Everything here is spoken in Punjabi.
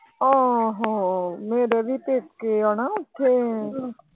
ਆਹੋ ਮੇਰੇ ਵੀ ਪੇਕੇ ਆ ਨਾ ਓਥੇ।